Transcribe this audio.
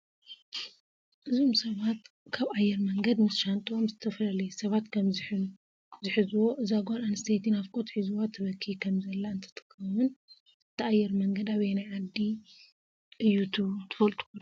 እዞም ሰባት ካብ ኣየር ወንገደ ምስ ሻንጥኦም ዝተፈላላሰባት ከም ዝንሕዎ እዛ ጋል ኣንስተይቲ ናፍቆት ሕዝዋ ትበ ክይ ከም ዘለ እንትትከውን እተ ኣያር መንገድ ኣበያናይ ዓዲ ት ብሉ ትፍልጥዶ?